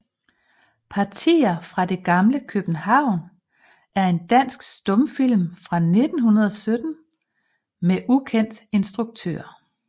Partier fra det gamle København er en dansk stumfilm fra 1917 med ukendt instruktør